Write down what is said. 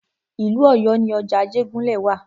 Ìlú Ọ̀yọ́ ni ọjà Ajégúnlẹ̀ wa.